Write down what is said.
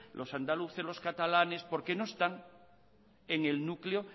los andaluces los catalanes porque no están en el núcleo